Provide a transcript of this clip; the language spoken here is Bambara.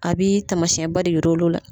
A bee taamasiyɛnba de yir'olu la.